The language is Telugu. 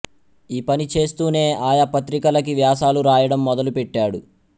ఈ పని చేస్తూనే ఆయా పత్రికలకి వ్యాసాలు రాయడం మొదలు పెట్టాడు